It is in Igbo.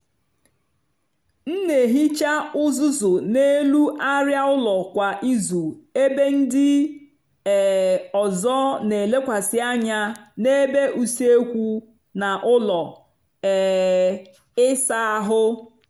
m n'ehicha uzuzu n’elu arịa ụlọ kwa izu ebe ndị um ọzọ n'elekwasị anya ebe usekwu na ụlọ um ịsa ahụ